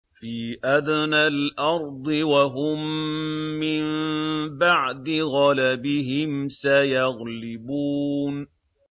فِي أَدْنَى الْأَرْضِ وَهُم مِّن بَعْدِ غَلَبِهِمْ سَيَغْلِبُونَ